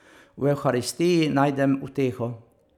V evharistiji najdem uteho.